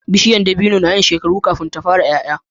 Bishiya dabino nayin shekaru kafin ta fara yaya